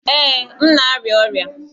Ee, m na-arịa ọrịa